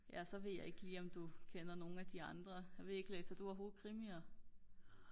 ja så ved jeg ikke lige om du kender nogle af de andre jeg ved ikke læser du overhovedet krimier?